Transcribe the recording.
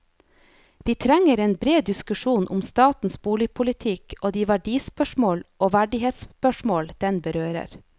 Vi trenger en bred diskusjon om statens boligpolitikk og de verdispørsmål og verdighetsspørsmål den berører.